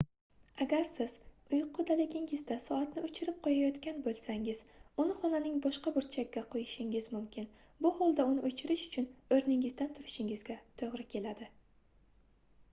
agar siz uyqudaligingizda soatni oʻchirib qoʻyayotgan boʻlsangiz uni xonaning boshqa burchagiga qoʻyishingiz mumkin bu holda uni oʻchirish uchun oʻrningizdan turishingizga toʻgʻri keladi